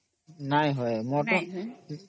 ନାଇଁ ହବ ଯେ